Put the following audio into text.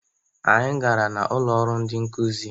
Anyị gara n' ụlọrụ ndị nkụzị.